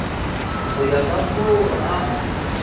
go ya ka moo a